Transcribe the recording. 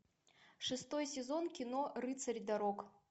шестой сезон кино рыцарь дорог